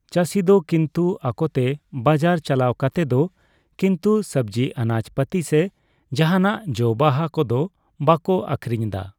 ᱪᱟᱹᱥᱤ ᱫᱚ ᱠᱤᱱᱛᱩ ᱟᱠᱚᱛᱮ ᱵᱟᱡᱟᱨᱮ ᱪᱟᱞᱟᱣ ᱠᱟᱛᱮᱜ ᱫᱚ ᱠᱤᱱᱛᱩ ᱥᱚᱵᱡᱤ ᱟᱱᱟᱡ ᱯᱟᱛᱤ ᱥᱮ ᱡᱟᱸᱦᱟᱱᱟᱜ ᱡᱚᱼᱵᱟᱦᱟ ᱠᱚᱫᱚ ᱵᱟᱠᱚ ᱟᱷᱨᱤᱧᱫᱟ ᱾